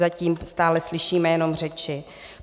Zatím stále slyšíme jenom řeči.